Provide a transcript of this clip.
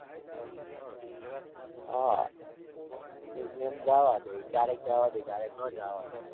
હાં ma'am જાવા દે. ક્યારેક જાવા દે ક્યારેક નો જાવા દે.